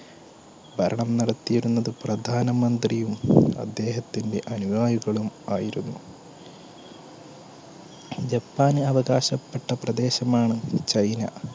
ഭരണം നടത്തിയിരുന്നത് പ്രധാനമന്ത്രിയും അദ്ദേഹത്തിന്റെ അനിയായികളും ആയിരുന്നു ജപ്പാന് അവകാശപ്പെട്ട പ്രദേശമാണ് ചൈന